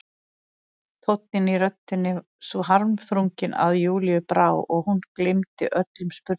Tónninn í röddinni svo harmþrunginn að Júlíu brá og hún gleymdi öllum spurningum.